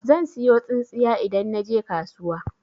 Zan siyo tsintsiya idan naje kasuwa.